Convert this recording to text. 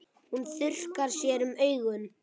Hún þurrkar sér um augun.